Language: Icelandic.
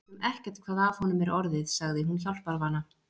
Við vitum ekkert hvað af honum er orðið, sagði hún hjálparvana.